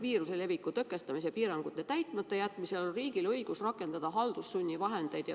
Viiruse leviku tõkestamise piirangute täitmata jätmisel on riigil õigus rakendada haldussunnivahendeid.